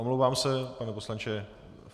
Omlouvám se, pane poslanče.